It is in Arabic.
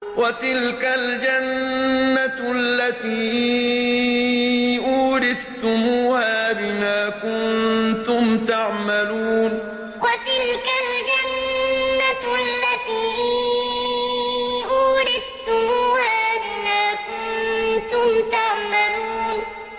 وَتِلْكَ الْجَنَّةُ الَّتِي أُورِثْتُمُوهَا بِمَا كُنتُمْ تَعْمَلُونَ وَتِلْكَ الْجَنَّةُ الَّتِي أُورِثْتُمُوهَا بِمَا كُنتُمْ تَعْمَلُونَ